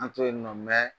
An to yen nɔ